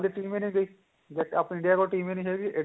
team ਈ ਨਹੀਂ ਰਹੀ ਦੇਖ ਆਪਣੇ india ਕੋਲ team ਈ ਨਹੀਂ ਹੈਗੀ